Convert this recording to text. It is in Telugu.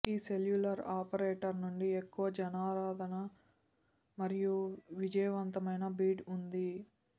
ఈ సెల్యులార్ ఆపరేటర్ నుంచి ఎక్కువ జనాదరణ మరియు విజయవంతమైన బిడ్ ఉంటుంది